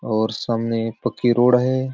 और सामने पक्की रोड है।